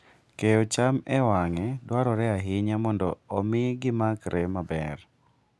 Keyo cham e wang'e dwarore ahinya mondo omi gimakre maber.